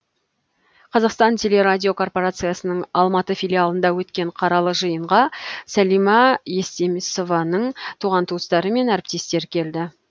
қазақстан телерадиокорпарациясының алматы филиалында өткен қаралы жиынға сәлима естемесованың туған туыстары мен әріптестері келді